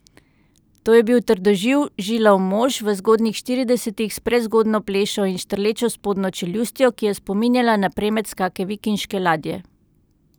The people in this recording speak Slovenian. To je bil trdoživ, žilav mož v zgodnjih štiridesetih, s prezgodnjo plešo in štrlečo spodnjo čeljustjo, ki je spominjala na premec kake vikinške ladje.